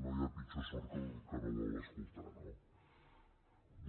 no hi ha pitjor sord que el que no vol escoltar